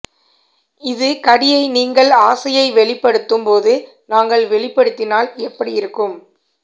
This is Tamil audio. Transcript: இது கடியை நீங்கள் ஆசையை வெளிப்படுத்தும் போது நாங்கள் வெளிப்படுத்தினால் எப்படி இருக்கும்